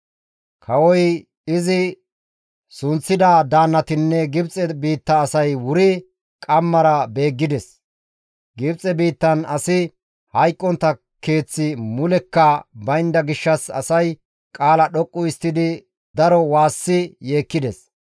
Kawoy, izi sunththida daannatinne Gibxe biitta asay wuri qammara beeggides. Gibxe biittan asi hayqqontta keeththi mulekka baynda gishshas asay qaala dhoqqu histtidi daro waassi yeekkides.